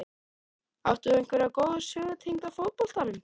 Átt þú einhverja góða sögu tengda fótboltanum?